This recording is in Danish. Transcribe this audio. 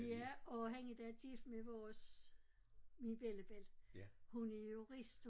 Ja og han endda gift med vores min bellabelli hun er jurist